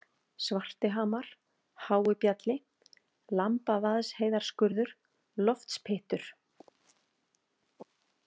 Svartihamar, Hái Bjalli, Lambavaðsheiðarskurður, Loftspyttur